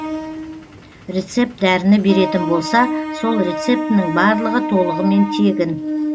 рецепт дәріні беретін болса сол рецептінің барлығы толығымен тегін